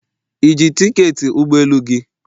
Ị ji tiketi ụgbọ elu gị?